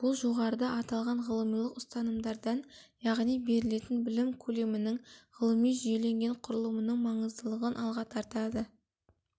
бұл жоғарыда аталған ғылымилық ұстанымдардан яғни берілетін білім көлемінің ғылыми жүйеленген құрылымының маңыздылығын алға тартады